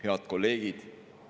Head kolleegid!